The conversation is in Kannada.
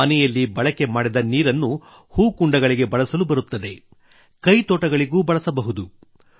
ಮನೆಯಲ್ಲಿ ಬಳಕೆ ಮಾಡಿದ ನೀರನ್ನು ಹೂಕುಂಡಗಳಿಗೆ ಬಳಸಲು ಬರುತ್ತದೆ ಕೈತೋಟಗಳಿಗೂ ಬಳಸಬಹುದು